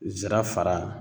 Zira fara